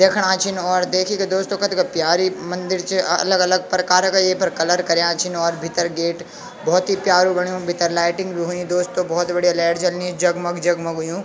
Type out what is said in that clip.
दयेखणा छिन और देखिके दोस्तों कथगा प्यारी मंदिर च अ अलग अलग परकार का येफर कलर कर्या छिन और भितर गेट भौत ही प्यारु बण्यु भितर लाइटिंग भी हुई दोस्तों भौत बढ़िया लैट जलनी जगमग जगमग हुयुं।